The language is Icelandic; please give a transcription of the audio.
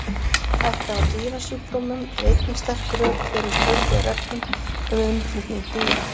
Hætta á dýrasjúkdómum er einnig sterk rök fyrir ströngum reglum um innflutning dýra.